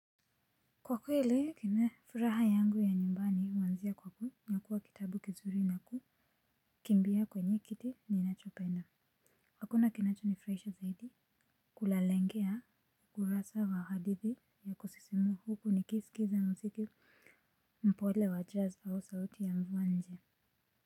Kwa kweli kime furaha yangu ya nyumbani huanzia kwa kunyakua kitabu kizuri na kukimbia kwenye kiti ninachopenda hakuna kinacho nifurahisha zaidi kulalengea kurasa za hadithi ya kusisimua huku nikisikiliza muziki mpole wa jazz au sauti ya mwanje.